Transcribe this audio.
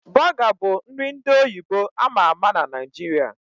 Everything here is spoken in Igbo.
Bọga bụ nri ndị oyibo ama ama na Naijiria